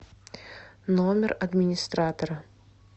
номер администратора